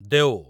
Deo